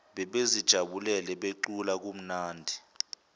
babezijabulele becula kumnandi